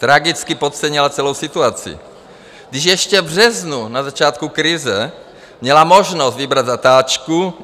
Tragicky podcenila celou situaci, když ještě v březnu, na začátku krize, měla možnost vybrat zatáčku.